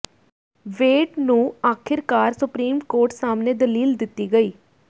ਵੇਡ ਨੂੰ ਆਖਿਰਕਾਰ supreme court ਸਾਹਮਣੇ ਦਲੀਲ ਦਿੱਤੀ ਗਈ